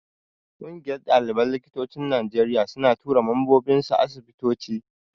Ƙungiyar ɗaliban likitocin Najeriya suna tura mambobinsu asibitoci.